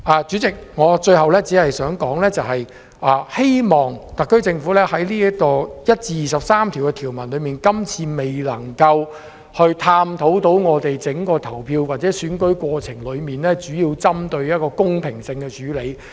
主席，最後，我只想指出，今次納入的第1至23條的條文，並未能探討整個投票或選舉的公平性並作出針對性的處理。